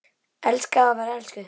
Elskaði og var elskuð.